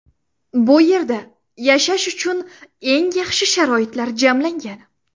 Bu yerda yashash uchun eng yaxshi sharoitlar jamlangan.